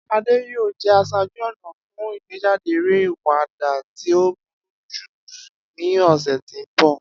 Ade yoo jẹ aṣaaju-ọna fun igbejade ere awada ti o buruju ni ọsẹ ti n bọ.